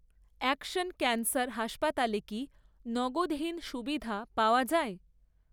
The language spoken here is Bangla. অ্যাকশন ক্যান্সার হাসপাতালে কি নগদহীন সুবিধা পাওয়া যায়?